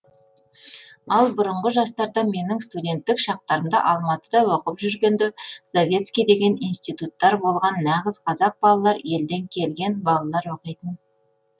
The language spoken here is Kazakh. ал бұрынғы жастарда менің студенттік шақтарымда алматыда оқып жүргенде завецкий деген институттар болған нағыз қазақ балалар елден келген балалар оқитын